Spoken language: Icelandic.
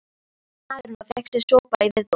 spurði maðurinn og fékk sér sopa í viðbót.